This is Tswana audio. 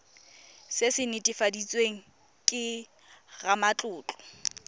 se se netefaditsweng ke ramatlotlo